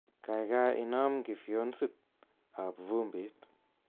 Kaikai inam kifyonsit ab vumbit